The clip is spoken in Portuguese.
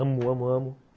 Amo, amo, amo.